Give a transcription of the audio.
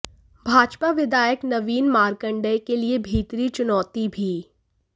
भाजपा विधायक नवीन मार्कंडेय के लिए भीतरी चुनौती भी